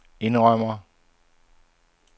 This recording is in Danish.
indrømmer